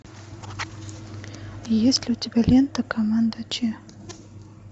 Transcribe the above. есть ли у тебя лента команда че